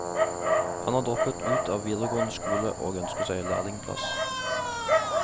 Han har droppet ut av videregående skole og ønsker seg lærlingeplass.